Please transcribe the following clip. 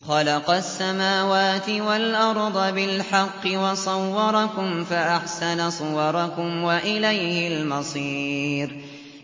خَلَقَ السَّمَاوَاتِ وَالْأَرْضَ بِالْحَقِّ وَصَوَّرَكُمْ فَأَحْسَنَ صُوَرَكُمْ ۖ وَإِلَيْهِ الْمَصِيرُ